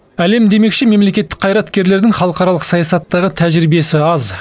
әлем демекші мемлекеттік қайраткерлердің халықаралық саясаттағы тәжірибесі аз